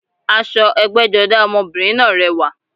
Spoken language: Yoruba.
Aṣọ ẹgbẹ́jọdá ọmọbìnrin náà rẹwà